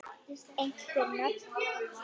Einhver nöfn?